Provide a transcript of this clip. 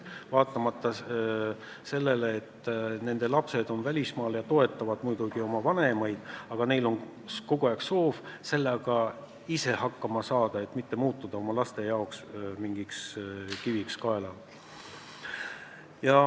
Jah, nende lapsed on välismaal ja toetavad muidugi oma vanemaid, aga vanainimesed soovivad ise maksmisega hakkama saada, et mitte muutuda kiviks oma laste kaelas.